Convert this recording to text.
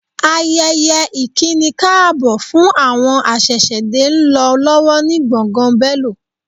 Ayẹyẹ ìkínikáàbọ̀ fún àwọn aṣẹ̀ṣẹ̀dé ń lọ lọ́wọ́ ni gbọ̀ngàn Bélò